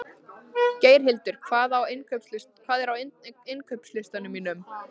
Geirhildur, hvað er á innkaupalistanum mínum?